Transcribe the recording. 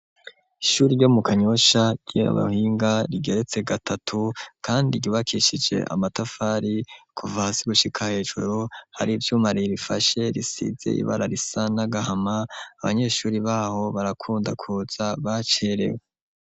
Ishuri ryo mu kanyosha ry'abuhinga rigeretse gatatu kandi gibakishije amatafari kuva hasi gushika hejuru hari ivyuma ririfashe risize ibara risa n'agahama abanyeshuri baho barakunda kuza bacerewe.